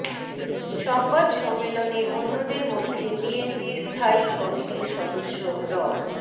সংবাদ সম্মেলনে অন্যদের মধ্যে বিএনপির স্থায়ী কমিটির সদস্য ড